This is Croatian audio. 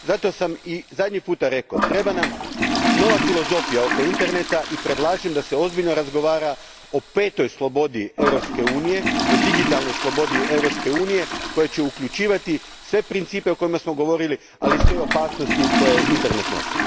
Zato sam i zadnji put rekao, treba nam nova filozofija oko interneta i predlažem da se ozbiljno razgovara o petoj slobodi Europske unije, o digitalnoj slobodi Europske unije koja će uljučivati sve principe o kojima smo govorili, ali i sve opasnosti koje internet nosi.